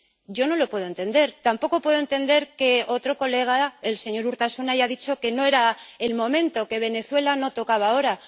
Yo no lo puedo entender, tampoco puedo entender que otro colega, el señor Urtasun, haya dicho que no era el momento, que Venezuela no tocaba ahora.